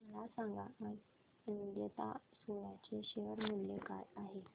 मला सांगा आज अजंता सोया चे शेअर मूल्य काय आहे